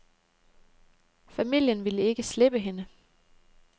Familien ville ikke slippe hende.